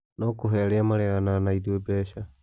No kũhe arĩa mareganaga na ithuĩ mbeca?